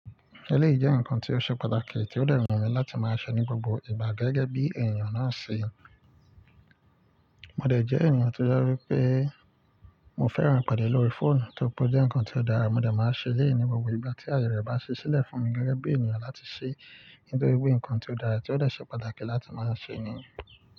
Eléyìí jẹ́ ǹnkan tí ó ṣe pàtàkì tí ó dẹ̀ hùn mi láti máa ṣẹ ní gbogbo ìgbà gẹ́gẹ́ bí ènìyàn náà ṣe. Mo dẹ̀ jẹ́ ènìyàn tó je wípé mo fẹ́ran ìpàdé lórí fóònù tó ri pe o jẹ́ ǹnkan tí ó dára, mo dẹ̀ máa ṣẹ eleyii ní gbogbo ìgbà tí aye rẹ̀ bá ṣe sílẹ̀ fún mi gẹ́gẹ́ bí ènìyàn láti ṣe nítorí pé ǹnkan tí ó dára tí ó dẹ̀ ṣe pàtàkì láti máa ṣẹ ní.